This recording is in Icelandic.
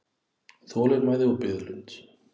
Þolinmæði og biðlund.